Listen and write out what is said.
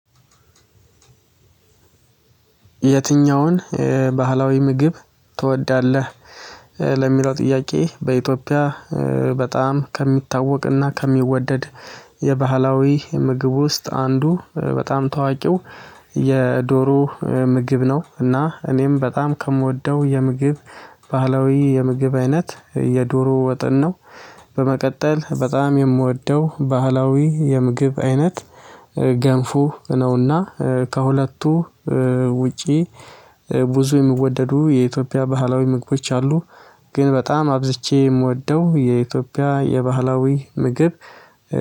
የትኛውን ባህላዊ ምግብ ትወዳለህ? ለሚለው ጥያቄ በኢትዮጵያ በጣም ከሚታወቅና ከሚወደድ የባህላዊ ምግብ ውስጥ አንዱ በጣም ታዋቂው የዶሮ ምግብ ነው እና እኔም በጣም ከምወደው የባህላዊ የምግብ አይነት የዶሮ ወጥን ነው። በመቀጠል በጣም የምወደው ባህላዊ የምግብ አይነት ገንፎ ነው። እና ከሁለቱ ውጪ ብዙ የሚወደዱ የኢትዮጵያ ባህላዊ ምግቦች አሉ። ግን በጣም አብዝቼ የምወደው የኢትዮጵያ የባህላዊ ምግብ